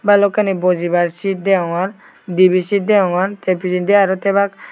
balokani bojibar sit degogor dibi seet degogor te pijendi aro tebak.